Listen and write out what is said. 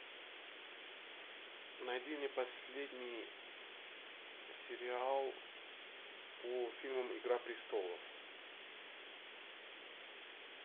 найди мне последний сериал по фильмам игра престолов